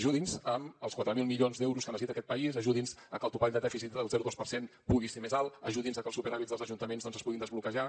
ajudi’ns amb els quatre mil milions d’euros que necessita aquest país ajudi’ns a que el topall de dèficit del zero coma dos per cent pugui ser més alt ajudi’ns a que els superàvits dels ajuntaments doncs es puguin desbloquejar